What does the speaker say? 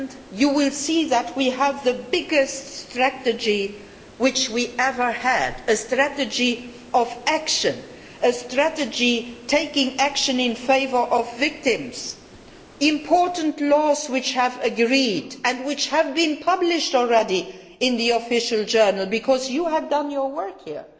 You will see that we have the most wide ranging strategy we have ever had, a strategy of action, a strategy taking action in favour of victims, important laws which have been agreed and which have already been published in the Official Journal, because you have done your work here.